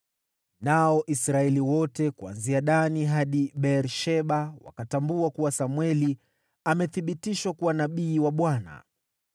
Nao Israeli wote kuanzia Dani hadi Beer-Sheba wakatambua kuwa Samweli amethibitishwa kuwa nabii wa Bwana .